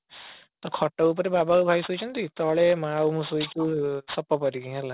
ତ ଖଟ ଉପରେ ବାବା ଆଉ ଭାଇ ଶୋଇଛନ୍ତି ତଳେ ମା ଆଉ ମୁଁ ଶୋଇଛୁ ସପ ପାରିକି ହେଲା